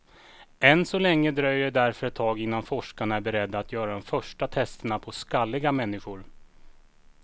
Än så länge dröjer det därför ett tag innan forskarna är beredda att göra de första testerna på skalliga människor.